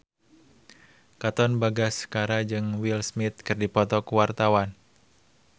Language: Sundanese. Katon Bagaskara jeung Will Smith keur dipoto ku wartawan